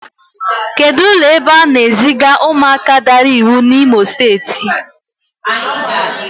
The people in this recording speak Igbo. Kedụ ebe ụlọ ebe a na-eziga ụmụaka daara iwu dị n'Imo Steeti?